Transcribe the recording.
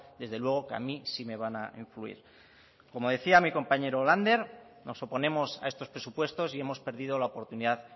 desde luego que a mí sí me van a influir como decía mi compañero lander nos oponemos a estos presupuestos y hemos perdido la oportunidad